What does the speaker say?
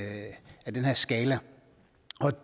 den her skala